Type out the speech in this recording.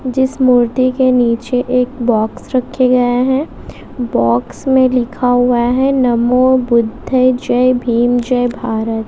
जिस मूर्ति के नीचे एक बॉक्स रखे गए हैं बॉक्स में लिखा हुआ है नमो बुद्धे जय भीम जय भारत।